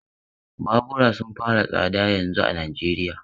Babura sun fara tsada yanzun a Najeriya.